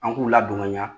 An k'u ladon ka ɲa